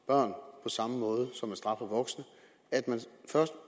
samme måde som man straffer voksne